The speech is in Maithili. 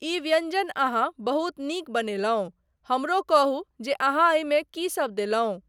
ई व्यञ्जन अहाँ बहुत नीक बनेलहुँ, हमरो कहू जे अहाँ एहिमे कीसब देलहुँ।